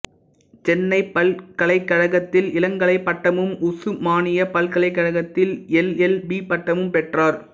சென்னைப்பல்கலைக் கழகத்தில் இளங்கலைப் பட்டமும் உசுமானியப் பல்கலைக் கழகத்தில் எல் எல் பி பட்டமும் பெற்றார்